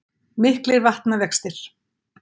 Miklir vatnavextir